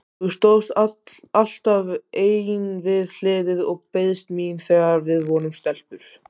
Þú stóðst alltaf ein við hliðið og beiðst mín þegar við vorum stelpur.